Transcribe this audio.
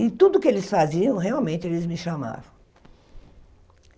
E tudo que eles faziam, realmente, eles me chamavam.